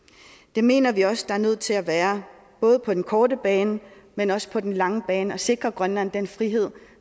det mener vi også der er nødt til at være både på den korte bane men også på den lange bane for at sikre grønland den frihed